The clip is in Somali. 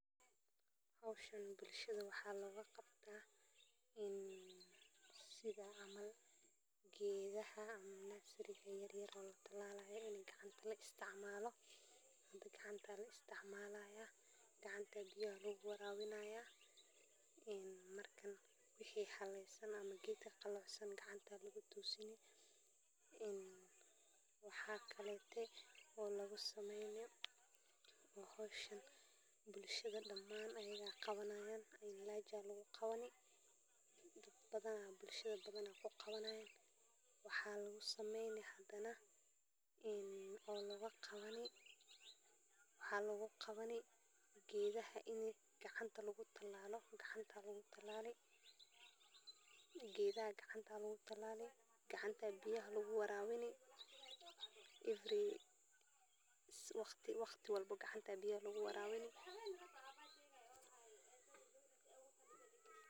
Waa nooc kaaliye ah oo loo isticmaalo beeraha si ay u yareeyan cudurrada iyo dhirtu ku noqon kara khasaare, kaas oo ka samaysan dhirta, xayawaanka, ama microorganisimada, taas oo aan laga yaabin inay waxyeello u geysato deegaanka ama nafaqada aadanaha, sidaas darteed waa xalka ugu fiican ee dhirta la dagaallamo iyadoo la adeegsanayo mabda'ayska dabiiciga ah, waxaana loo isticmaali karaa si ay u koriso tamarta beeraha iyadoo la ilaalinayo cimilada iyo biyaha, sidaa awgeed waxay noqon kartaa mid muhiim u ah horumarinta beeraha ee mustaqbalka, gaar ahaan marka loo eego dhibaatooyinka ay keenaan kiimikaadyada caadiga ah ee lagu daweeyo cudurrada iyo dhirtu, taas oo keenta in la adeegsado noocyo cusub oo kaaliye ah.